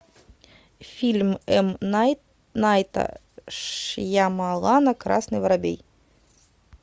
фильм м найта шьямалана красный воробей